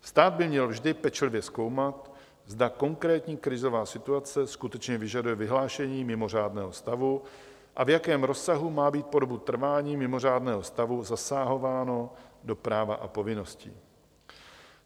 Stát by měl vždy pečlivě zkoumat, zda konkrétní krizová situace skutečně vyžaduje vyhlášení mimořádného stavu a v jakém rozsahu má být po dobu trvání mimořádného stavu zasahováno do práva a povinností.